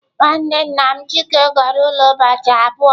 Nwanne nna m Chike goro ulo ubochi abuo.